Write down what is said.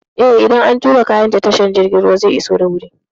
Eh, idan an turo kayan ta tashar jirgin ruwa zai iso da wuri.